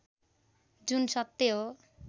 जुन सत्य हो